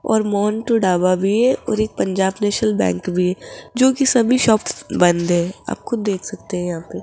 और मोहन का ढाबा भी है और एक पंजाब नेशनल बैंक भी है जोकि सभी शॉप्स बंद है आप खुद देख सकते हैं यहां पे --